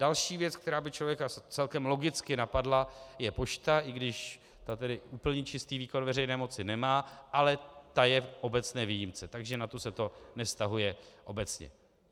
Další věc, která by člověka celkem logicky napadla, je pošta, i když ta tedy úplně čistý výkon veřejné moci nemá, ale ta je v obecné výjimce, takže na tu se to nevztahuje obecně.